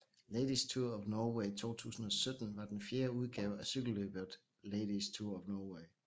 Ladies Tour of Norway 2017 var den fjerde udgave af cykelløbet Ladies Tour of Norway